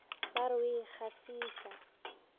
ba re o a ikgafiša